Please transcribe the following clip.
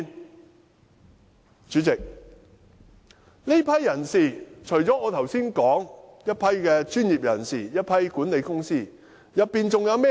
代理主席，在這些有關人士中，除了我剛才說的專業人士和管理公司人員，還有甚麼人？